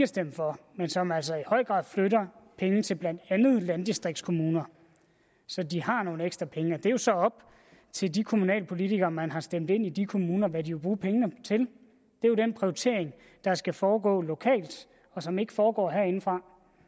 stemt for men som altså i høj grad flytter penge til blandt andet landdistriktskommuner så de har nogle ekstra penge det er så op til de kommunalpolitikere man har stemt ind i de kommuner hvad de vil bruge pengene til det er jo den prioritering der skal foregå lokalt og som ikke foregår herindefra